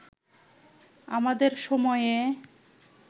আমাদের সময়ে